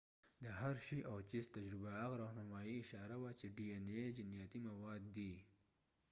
د هرشی او چېس تجربه هغه راهنمايي اشاره وه چې ډي این اې جینیاتي مواد دی